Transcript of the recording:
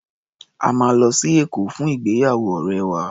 A máa lọ sí Èkó fún ìgbéyàwó ọ̀rẹ́ wa.